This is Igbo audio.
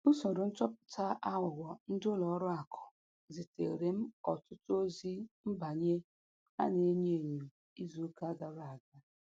Usoro nchọpụta aghụghọ ndị ụlọ akụ ziteere m ọtụtụ ozi mbanye a na-enyo enyo izu ụka gara aga.